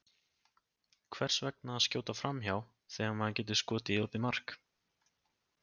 Hvers vegna að skjóta framhjá, þegar maður getur skotið í opið markið?